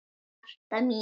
Marta mín.